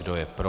Kdo je pro?